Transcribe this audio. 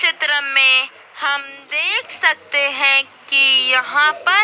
चित्र में हम देख सकते हैं कि यहां पर--